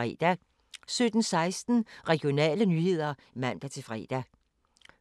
17:16: Regionale nyheder (man-fre)